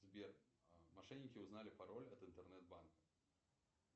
сбер мошенники узнали пароль от интернет банка